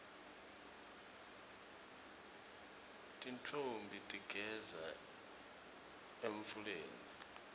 tintfombi tigeza emfuleni